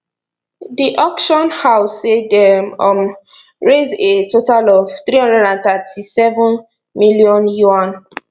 di auction house say dem um raised a total of three hundred and thirty seven million yuan